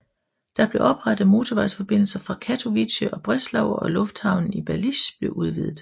Der blev oprettet motorvejsforbindelser til Katowice og Breslau og lufthavnen i Balice blev udvidet